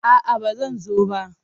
A'a ba zan zo ba.